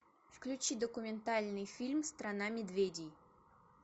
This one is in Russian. включи документальный фильм страна медведей